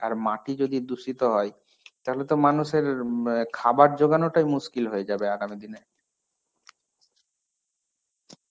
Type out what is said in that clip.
আর মাটি যদি দুষিত হয়, তাহলেতো মানুষের ম খাবার যোগানোটাই মুস্কিল হয়ে যাবে আগামী দিনে.